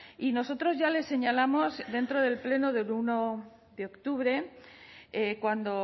y nosotros ya les señalamos dentro del pleno de uno de octubre cuando